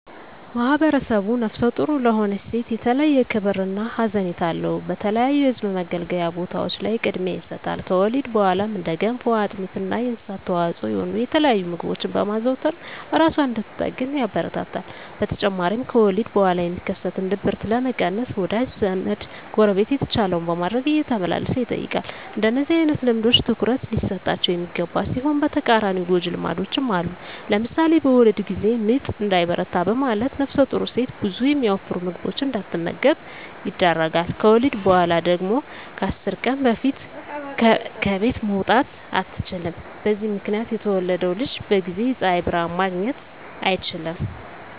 ማህብረሰቡ ነፍሰ ጡር ለሆነች ሴት የተለየ ክብር እና ሀዘኔታ አለው። በተለያዩ የህዝብ መገልገያ ቦታዎች ላይ ቅድሚያ ይሰጣል። ከወሊድ በኋላም እንደ ገንፎ፣ አጥሚት እና የእንስሳት ተዋፅዖ የሆኑ የተለያዩ ምግቦችን በማዘውተር እራሷን እንድትጠግን ያበረታታል። በተጨማሪም ከወሊድ በኋላ የሚከሰትን ድብርት ለመቀነስ ወዳጅ ዘመ፣ ጎረቤት የተቻለውን በማድረግ እየተመላለሰ ይጠይቃል። እንደነዚህ አይነት ልምዶች ትኩረት ሊሰጣቸው የሚገባ ሲሆን በተቃራኒው ጎጅ ልማዶችም አሉ። ለምሳሌ በወሊድ ጊዜ ምጥ እንዳይበረታ በማለት ነፍሰጡር ሴት ብዙ የሚያወፍሩ ምግቦችን እንዳትመገብ ይደረጋል። ከወሊድ በኋላ ደግሞ ከ10 ቀን በፊት ከቤት መውጣት አትችልም። በዚህ ምክንያት የተወለደው ልጅ በጊዜ የፀሀይ ብርሀን ማግኘት አይችልም።